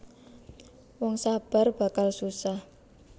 Wong sabar bakalsusah